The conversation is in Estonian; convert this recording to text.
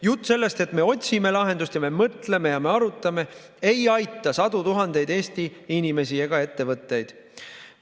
Jutt sellest, et me otsime lahendust ja me mõtleme ja arutame, ei aita sadu tuhandeid Eesti inimesi ega ettevõtteid.